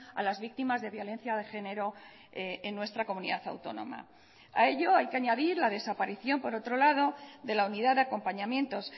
a las víctimas de violencia de género en nuestra comunidad autónoma a ello hay que añadir la desaparición por otro lado de la unidad de acompañamientos